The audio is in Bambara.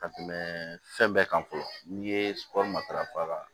Ka tɛmɛ fɛn bɛɛ kan fɔlɔ n'i ye kɔɔri matarafa